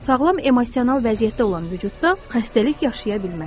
Sağlam emosional vəziyyətdə olan vücudda xəstəlik yaşaya bilməz.